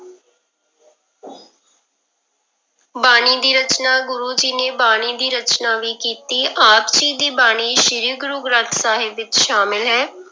ਬਾਣੀ ਦੀ ਰਚਨਾ, ਗੁਰੂ ਜੀ ਨੇ ਬਾਣੀ ਦੀ ਰਚਨਾ ਵੀ ਕੀਤੀ, ਆਪ ਜੀ ਦੀ ਬਾਣੀ ਸ੍ਰੀ ਗੁਰੂ ਗ੍ਰੰਥ ਸਾਹਿਬ ਵਿੱਚ ਸ਼ਾਮਲ ਹੈ।